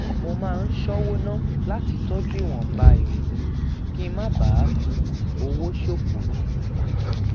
mo máa ń ṣówó ná lati toju iwonba ere mi kí n má bàa máa fi owó ṣòfò